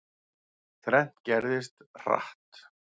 Þrennt gerðist, hratt.